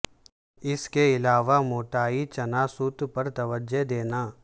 اس کے علاوہ موٹائی چنا سوت پر توجہ دینا